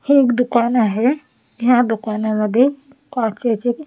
हे एक दुकान आहे ह्या दुकानामध्ये काचेचे.